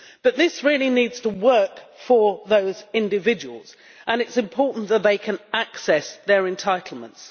But this really needs to work for those individuals, and it is important that they can access their entitlements.